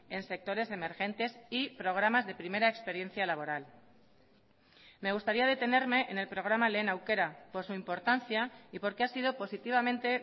en sectores emergentes y programas de primera experiencia laboral me gustaría detenerme en el programa lehen aukera por su importancia y porque ha sido positivamente